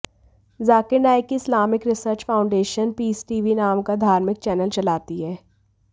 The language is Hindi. जाकिर नायक की Islamic research foundation peace TV नाम का धार्मिक चैनल चलाती है